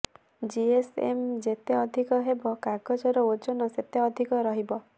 GSM ଯେତେ ଅଧିକ ହେବ କାଗଜର ଓଜନ ସେତେ ଅଧିକ ରହିବ